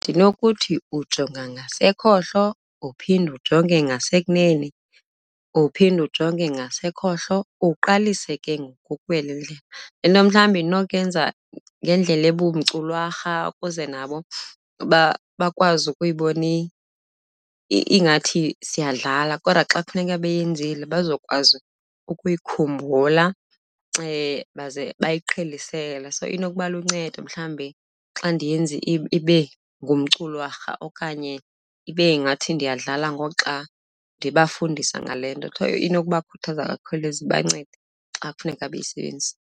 Ndinokuthi ujonga ngasekhohlo uphinde ujonge ngasekunene, uphinde ujonge ngasekhohlo, uqalise ke ngoku ukuwela indlela. Le nto mhlawumbi ndinokuyenza ngendlela ebumculwarha ukuze nabo bakwazi ukuyibona ingathi siyadlala kodwa xa kufuneka beyenzile bazokwazi ukuyikhumbula baze bayiqhelisele. So inokuba luncedo mhlawumbi xa ndiyenza ibe ngumculwarha okanye ibe ngathi ndiyadlala ngoxa ndibafundisa ngale nto, So inokuba khuthaza kakhulu, ize ibancede xa kufuneka beyisebenzisile.